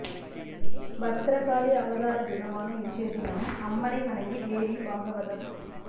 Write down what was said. பத்ரகாளி அவதார தினமான இன்றைய தினம் அம்மனை வணங்கி தேவி பாகவதம்